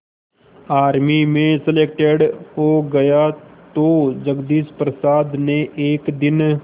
army में selected हो गया तो जगदीश प्रसाद ने एक दिन